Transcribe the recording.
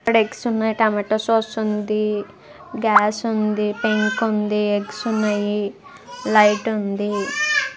ఇక్కడ ఎగ్స్ ఉన్నాయ్. Tomato sauce ఉంది . గ్యాస్ ఉంది. పెంక్ ఉంది ఎగ్స్ ఉన్నాయి లైట్ ఉంది. ]